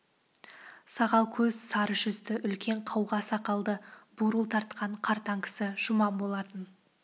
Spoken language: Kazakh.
сағал көз сары жүзді үлкен қауға сақалды бурыл тартқан қартаң кісі жұман болатын